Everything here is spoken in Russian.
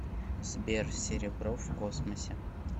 сбер серебро в космосе